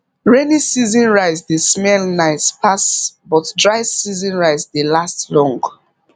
rainy season rice dey smell nice pass but dry season rice dey last long